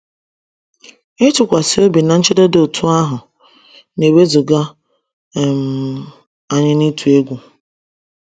Ịtụkwasị obi na nchedo dị otú ahụ na-ewezụga um anyị n’ịtụ egwu.